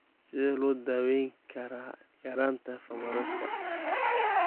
Sidee loo daweyn karaa yaraanta fumaraseka?